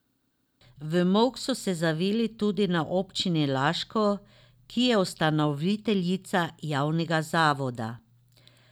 V molk so se zavili tudi na občini Laško, ki je ustanoviteljica javnega zavoda.